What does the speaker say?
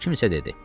Kimsə dedi: